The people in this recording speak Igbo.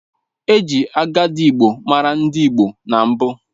E ji adigigbo maara ndị Igbo na mbụ